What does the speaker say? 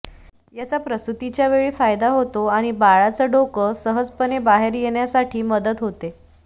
याचा प्रसूतीच्या वेळी फायदा होतो आणि बाळाचं डोकं सहजपणे बाहेर येण्यासाठी मदत होते